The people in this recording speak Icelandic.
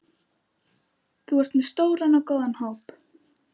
Þú ert með stóran og góðan hóp?